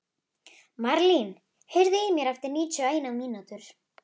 Marlín, heyrðu í mér eftir níutíu og eina mínútur.